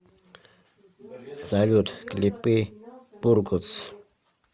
салют клипы бургос